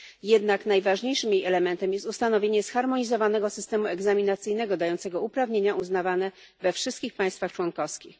Jednak najważniejszym jej elementem jest ustanowienie zharmonizowanego systemu egzaminacyjnego, dającego uprawnienia uznawane we wszystkich państwach członkowskich.